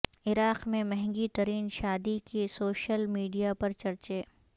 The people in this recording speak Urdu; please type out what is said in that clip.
عراق میں مہنگی ترین شادی کے سوشل میڈیا پر چرچے